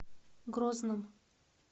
грозном